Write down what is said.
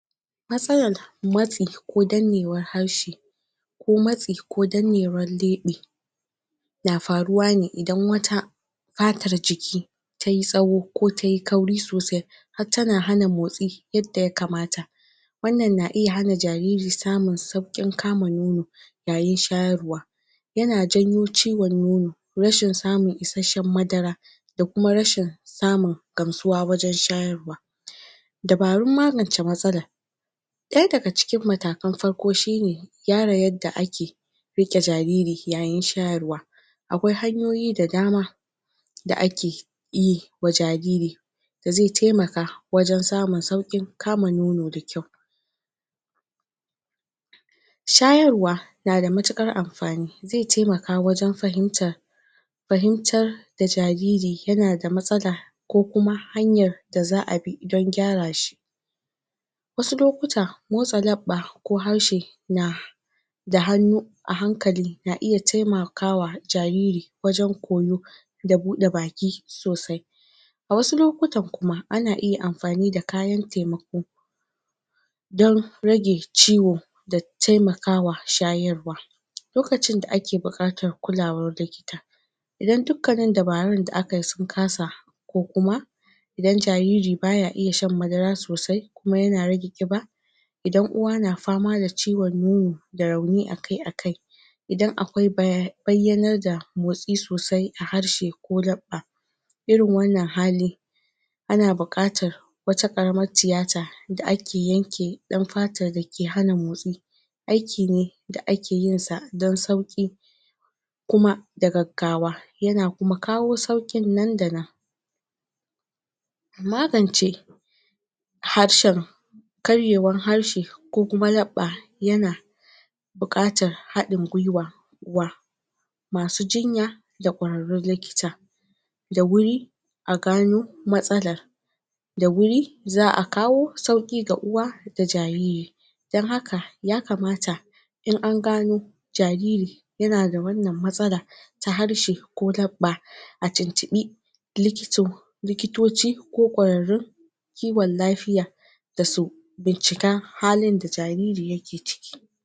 Matsalar matsi ko dannewar harshe ko mtsai ko dannewar lebe na faruwa ne idan wata fatar jiki tayi tsawo kao te kauri sosai har tana hana motsi yadda ya kmata wannan na iya hana jariri samun saukin kama nono yayin shayarwa yana janyo ciwon nono rashin samun isashshen madara da kuma rashin samun gamsuwa wajan shayarwa dabarun magance matsalar daya daga cikin matakan farko shi ne gyara yadda ake rike jariri yayin shayarwa akwai hanyoyi da dama da ake yiwa jariri da zi temaka wajan sa saukin kama nono da kyau shayarwa na da matukar amfani zai temaka wajan fahimtar fahintar da jariri yana da matsala ko kuma hanyar da za abi dan gyara shi wasu lokuta motsa labba ko harshe na da hannu a hankali na iya temakawa jariri wajan koyo da bude baki sosai a wasu lokutan kuma ana iya amfani kayan temako dan rage ciwo da temakawa shayarwa lokacin da ake bukatar kulawar likita idan dukkannin dabarun da akayi sun kasa ko kuma idan jariri baya iya shan madara sosai kuma yana rage kiba idan uwa na fama da ciwon nono da rauni akai-akai idan kwai bayyanar da motsi i sosai a harshe ko labba irin wannan hali ana bukatar wata karamar tiyata da ake yanke dan fatar da ke hana motsi ayki ne da akeyinsa dan sauki kuma da gaggawa yana kuma kawo saukin nannada nan magance harshen karyewan harshe ko kuma labba yana yana bukatar hadin gwaiwa, gw masu jinya da kwararrun likita da wuri a gano matsalar da wuri za a kawo sauki ga uwa ga jariri dan haka ya kamata in an gano jariri yana da wannan matsala ta harshe ko labba a tintibi likito likitoci ko kwrarraun kiwan lafiya da su da su bincika halin da jariri yake ciki